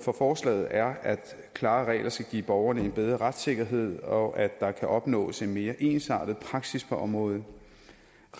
for forslaget er at klare regler skal give borgerne en bedre retssikkerhed og at der kunne opnås en mere ensartet praksis på området